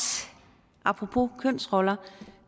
apropos kønsroller